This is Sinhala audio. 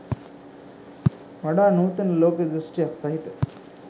වඩා නූතන ලෝක දෘෂ්ටියක් සහිත